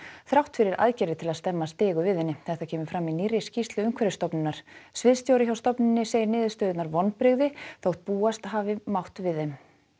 þrátt fyrir aðgerðir til að stemma stigu við henni þetta kemur fram í nýrri skýrslu Umhverfisstofnunar sviðsstjóri hjá stofnuninni segir niðurstöðurnar vonbrigði þótt búast hafi mátt við þeim